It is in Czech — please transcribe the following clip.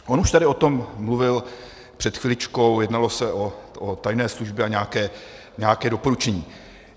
On už tady o tom mluvil před chviličkou, jednalo se o tajné služby a nějaké doporučení.